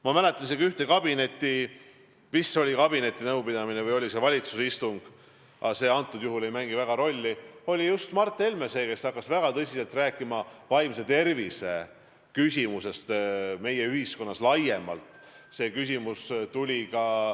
Ma mäletan, meil isegi oli kabinetinõupidamine või valitsuse istung – see ei mängi praegu erilist rolli –, kus just Mart Helme oli see, kes hakkas väga tõsiselt rääkima vaimse tervise küsimusest meie ühiskonnas laiemalt.